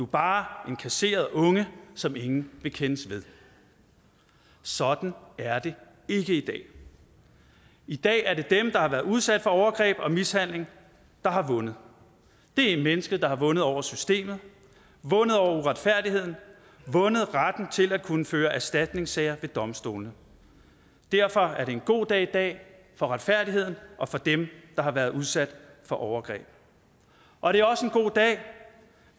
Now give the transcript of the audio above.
bare en kasseret unge som ingen vil kendes ved sådan er det ikke i dag i dag er det dem der har været udsat for overgreb og mishandling der har vundet det er et menneske der har vundet over systemet vundet over uretfærdigheden vundet retten til at kunne føre erstatningssager ved domstolene derfor er det en god dag i dag for retfærdigheden og for dem der har været udsat for overgreb og det er også en god dag